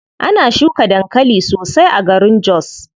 Ana shuka dankali sosai a garin jos.